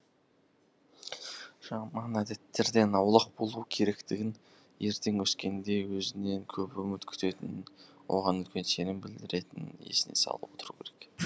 жаман әдеттерден аулақ болу керектігін ертең өскенде өзінен көп үміт күтетінін оған үлкен сенім білдіретінін есіне салып отыру керек